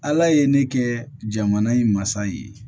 Ala ye ne kɛ jamana in masa ye